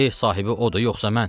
Ev sahibi odur yoxsa mən?